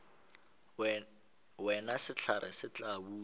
wena sehlare se tla botšwa